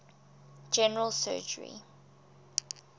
general surgery